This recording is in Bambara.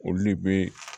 Olu de bɛ